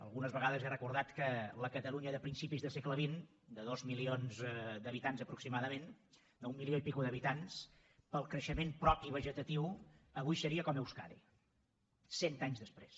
algunes vegades he recordat que la catalunya de principis de segle xx de dos milions d’habitants aproximadament d’un milió i escaig d’habitants pel creixement propi vegetatiu avui seria com euskadi cent anys després